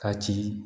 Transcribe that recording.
Ka ci